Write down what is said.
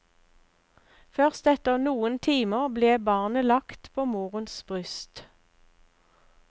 Først etter noen timer ble barnet lagt på morens bryst.